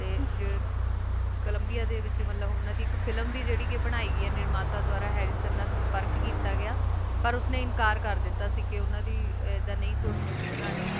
ਤੇ ਕੋਲੰਬੀਆ ਦੇ ਵਿੱਚ ਫਿਲਮ ਵੀ ਬਣਾਈ ਗਈ ਏ ਨਿਰਮਾਤਾ ਦੁਆਰਾ ਹੈਰੀ ਸਰ ਨਾਲ ਸੰਪਰਕ ਕੀਤਾ ਗਿਆ ਪਰ ਉਸਨੇ ਇਨਕਾਰ ਕਰ ਦਿੱਤਾ ਸੀ ਕਿ ਓਹਨਾ ਦੀ ਏਡਾ ਨੀ ਕੋਈ ਮੋਵੀ ਬਨਾਨੀ ਤੇ